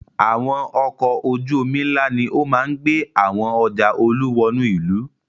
Àwọn ọkọ̀ ojú-omi ńlá ni ó máa ń gbé àwo ọjà Olú wọnú ìlú.